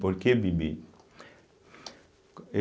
Por que Bibi? eu